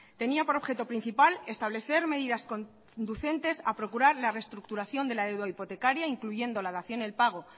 tenía por objeto principal establecer medidas conducentes a procurar la reestructuración de la deuda hipotecaria incluyendo la dación en pago